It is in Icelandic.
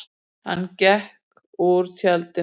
Hann gekk úr tjaldinu.